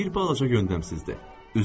Bir balaca yöndəmsizdir.